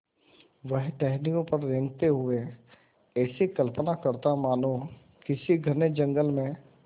वह टहनियों पर रेंगते हुए ऐसी कल्पना करता मानो किसी घने जंगल में